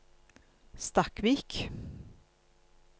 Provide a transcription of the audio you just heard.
Stakkvik